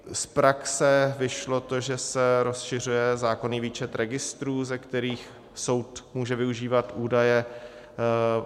Z praxe vyšlo to, že se rozšiřuje zákonný výčet registrů, ze kterých soud může využívat údaje.